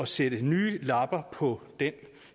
sætte nye lapper på den